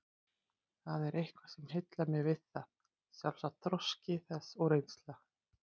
Það er eitthvað sem heillar mig við það, sjálfsagt þroski þess og reynsla.